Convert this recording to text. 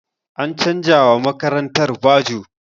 An canza wa makarantar bajo.